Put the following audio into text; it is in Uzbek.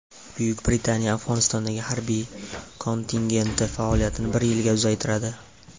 Buyuk Britaniya Afg‘onistondagi harbiy kontingenti faoliyatini bir yilga uzaytiradi.